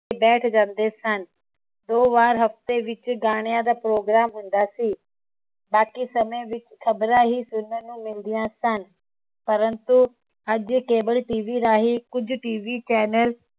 ਬੈਠ ਜਾਂਦੇ ਸਨ ਦੋ ਵਾਰ ਹਫਤੇ ਵਿਚ ਗਾਣਿਆਂ ਦਾ program ਹੁੰਦਾ ਸੀ ਬਾਕੀ ਸਮੇ ਵਿਚ ਖ਼ਬਰਾਂ ਹੀ ਸੁਨਣ ਨੂੰ ਮਿਲਦੀਆਂ ਸਨ ਪਰੰਤੂ ਅੱਜ cableTV ਰਾਹੀ ਕੁਝ TVchannel